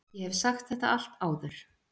Ég hef sagt þetta allt áður.